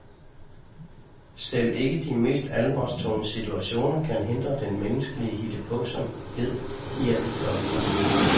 Selv ikke de mest alvorstunge situationer kan hindre den menneskelige hittepåsomhed i at udfolde sig.